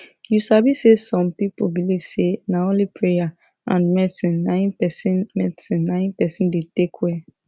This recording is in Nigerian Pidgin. u sabi say some people believe say na only praya and medicine na im persin medicine na im persin da take welll